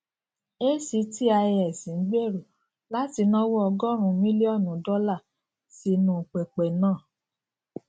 actis n gbero lati nawo ọgọrùn millionu dollar sinu pẹpẹ naa